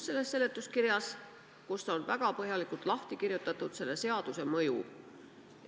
Selles on punkt 6, kus on väga põhjalikult lahti kirjutatud selle seaduse mõju.